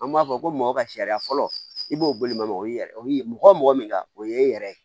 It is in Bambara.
An b'a fɔ ko mɔgɔ ka sariya fɔlɔ i b'o bolima o y'i yɛrɛ o y'i mɔgɔ o mɔgɔ min ka o ye e yɛrɛ ye